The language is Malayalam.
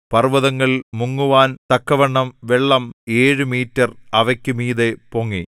പർവ്വതങ്ങൾ മുങ്ങുവാൻ തക്കവണ്ണം വെള്ളം ഏഴു മീറ്റര്‍ അവയ്ക്കു മീതെ പൊങ്ങി